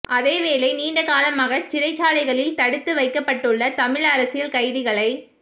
அதேவேளை நீண்ட காலமாக சிறைச்சாலைகளில் தடுத்து வைக்கப்பட்டுள்ள தமிழ் அரசியல் கைதிகளை